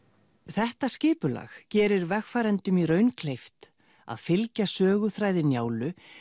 þetta skipulag gerir vegfarendum í raun kleift að fylgja söguþræði Njálu